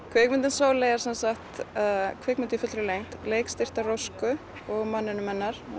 kvikmyndin Sóley er semsagt kvikmynd í fullri lengd leikstýrt af Rósku og manninum hennar